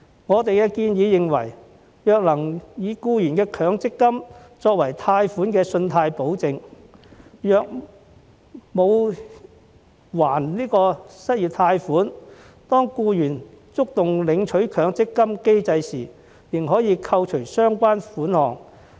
我們建議，若能以僱員的強積金作為貸款的信貸保證，如僱員沒有償還失業貸款，當他觸動領取強積金的機制時，便可以扣除相關款項。